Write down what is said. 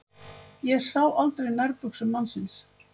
Ég sá aldrei nærbuxur mannsins.